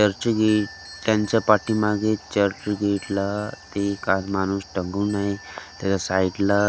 church gate त्यांच्या पाठीमागे चर्च गेटला ते अ माणूस त्याच्या साईडला --